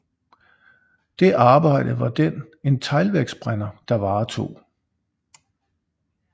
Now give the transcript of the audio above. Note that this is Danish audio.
Det arbejde var den en teglværksbrænder der varetog